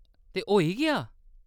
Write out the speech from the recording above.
ते होई गेआ ?